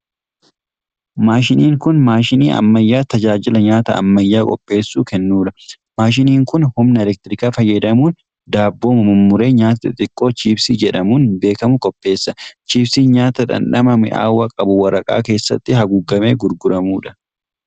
Maashiniin kun, maashinii ammayyaa tajaajila nyaata ammayyaa qopheessuu kennuu dha. Maashiniin kun humna elektirikaa fayyadamuun daabboo mummuree nyaata xixiqqoo chipsii jedhamuun beekamu qopheessa. Chipsiin nyaata dhandhama mi'aawaa qabu waraqaa keessatti haguugamee gurguramuu dha.